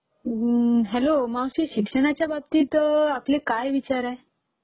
Hello मावशी..अम्म्म शिक्षणाच्या बाबतीत आपले काय विचार आहेत?